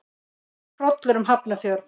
Það fór hrollur um Hafnarfjörð.